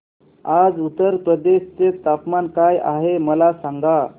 आज उत्तर प्रदेश चे तापमान काय आहे मला सांगा